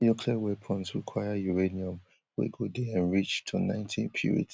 nuclear weapons require uranium wey go dey enriched to ninety purit